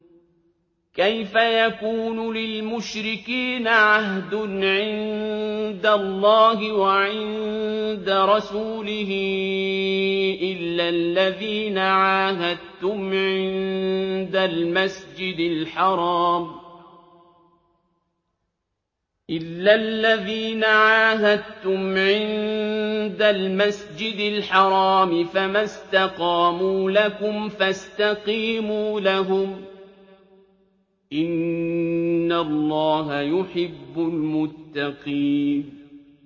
كَيْفَ يَكُونُ لِلْمُشْرِكِينَ عَهْدٌ عِندَ اللَّهِ وَعِندَ رَسُولِهِ إِلَّا الَّذِينَ عَاهَدتُّمْ عِندَ الْمَسْجِدِ الْحَرَامِ ۖ فَمَا اسْتَقَامُوا لَكُمْ فَاسْتَقِيمُوا لَهُمْ ۚ إِنَّ اللَّهَ يُحِبُّ الْمُتَّقِينَ